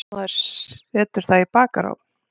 Maður setur það í bakarofn.